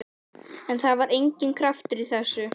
En það var enginn kraftur í þessu.